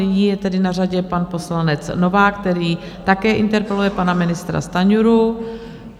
Nyní je tedy na řadě pan poslanec Novák, který také interpeluje pana ministra Stanjuru.